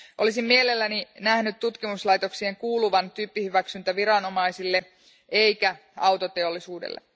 Olisin mielelläni nähnyt tutkimuslaitoksien kuuluvan tyyppihyväksyntäviranomaisille eikä autoteollisuudelle.